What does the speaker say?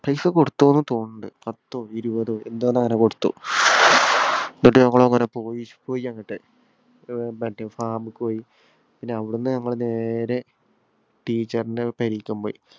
പൈസ കൊടുത്തോന്ന് തോന്ന്‍ണ്ട്. പത്തോ, ഇരുപ്പതോ എന്തോങ്ങനെ കൊടുത്തു എന്നിട്ട് നമ്മള് അങ്ങനെ പോയി. പോയി അങ്ങത്തെ. മറ്റേ farm ക്ക് പോയി. പിന്നെ അവിട്ന്ന് നമ്മള് നേരെ teacher ഇന്‍റെ പെരേക്ക് പോയി.